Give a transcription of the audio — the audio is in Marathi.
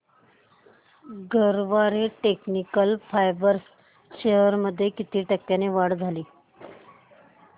गरवारे टेक्निकल फायबर्स शेअर्स मध्ये किती टक्क्यांची वाढ झाली